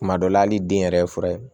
Kuma dɔ la hali den yɛrɛ ye fura ye